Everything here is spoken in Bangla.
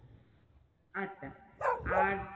আচ্ছা আর